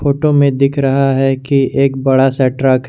Photo में दिख रहा है कि एक बडा सा ट्रक है।